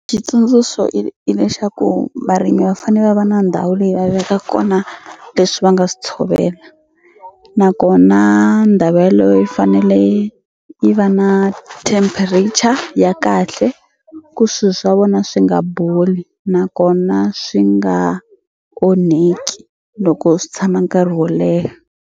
Xitsundzuxo i lexaku varimi va fane va va na ndhawu leyi va veka kona leswi va nga swi tshovela nakona ndhawu yeleyo yi fanele yi yi va na temperature ya kahle ku swi swa vona swi nga boli nakona swi nga onheki loko swi tshama nkarhi wo leha.